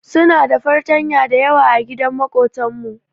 Su na da fartanya dayawa agidan makotan mu.